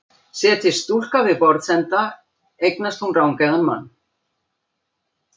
Setjist stúlka við borðsenda eignast hún rangeygðan mann.